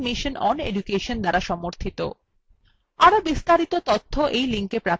আরো বিস্তারিত তথ্য এই লিঙ্কএ প্রাপ্তিসাধ্য